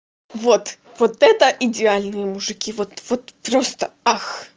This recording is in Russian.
вот вот это идеальные мужики вот вот просто ах